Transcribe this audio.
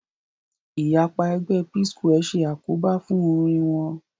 Ìyapa ẹgbẹ́ Psquare ṣe àkóbá fún orin wọn